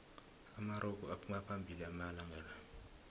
amarogo aphuma phambili amalanqala